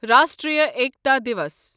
Rashtriya Ekta Diwas